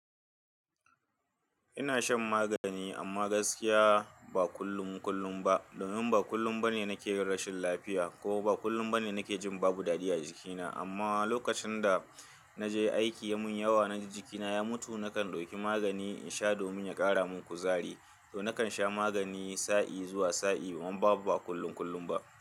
Ina shan magani amma gaskiya ba kullum kullum ba. Domin ba kullum bane nake yin rashin lafiya kuma ba kullum bane nake jin babu dadi a jikina. Amma lokacin da na je aiki mun yawa na ji jikina ya mutu, nakan dauki magani in sha domin ya ƙara mun kuzari. To nakan sha magani sa'i zuwa sa'i amma babu ba kullum kullum ba.